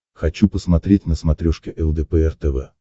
хочу посмотреть на смотрешке лдпр тв